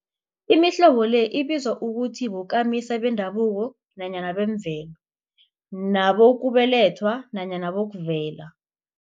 Imihlobo le ibizwa ukuthi bokamisa bendabuko nanyana bemvelo, nabokubelethwa nanyana bokuvela.